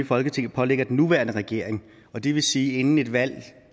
folketinget pålægger den nuværende regering og det vil sige at inden et valg